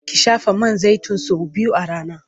Ki shafa man zaitin sau biyu a rana.